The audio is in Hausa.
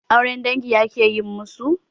Auren dangi akayi masu?